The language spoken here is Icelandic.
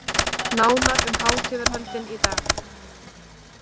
Nánar um hátíðarhöldin í dag